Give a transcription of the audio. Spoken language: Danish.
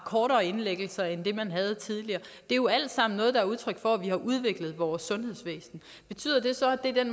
kortere indlæggelser end man havde tidligere det er jo alt sammen noget der er udtryk for at vi har udviklet vores sundhedsvæsen betyder det så at det er den